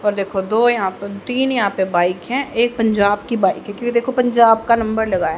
और देखो दो यहां पर तीन यहां पे बाइक है। एक पंजाब की बाइक है क्योंकि देखो पंजाब का नंबर लगा है।